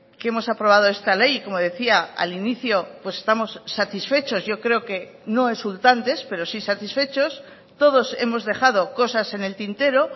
que hemos aprobado esta ley como decía al inicio pues estamos satisfechos yo creo que no exultantes pero sí satisfechos todos hemos dejado cosas en el tintero